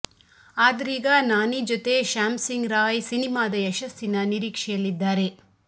ಆದರೀಗ ನಾನಿ ಜೊತೆ ಶ್ಯಾಮ್ ಸಿಂಗ್ ರಾಯ್ ಸಿನಿಮಾದ ಯಶಸ್ಸಿನ ನಿರೀಕ್ಷೆಯಲ್ಲಿದ್ದಾರೆ